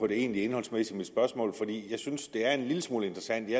det egentlig indholdsmæssige i mit spørgsmål jeg synes det er en lille smule interessant i